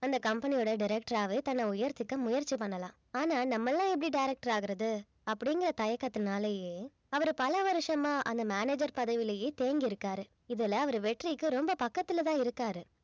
அந்த company யோட director ஆவே தன்னை உயர்த்திக்க முயற்சி பண்ணலாம் ஆனா நம்மெல்லாம் எப்படி director ஆகுறது அப்படிங்கிற தயக்கத்தினாலேயே அவரு பல வருஷமா அந்த manager பதவியிலேயே தேங்கியிருக்காரு இதுல அவர் வெற்றிக்கு ரொம்ப பக்கத்துலதான் இருக்காரு